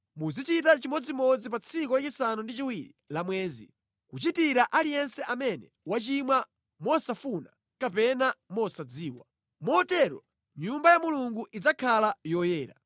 Muzichita chimodzimodzi pa tsiku la chisanu ndi chiwiri la mwezi, kuchitira aliyense amene wachimwa mosafuna kapena mosadziwa. Motero Nyumba ya Mulungu idzakhala yoyera.